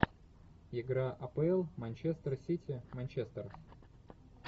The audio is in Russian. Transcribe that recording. игра апл манчестер сити манчестер